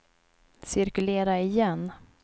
cirkulera igen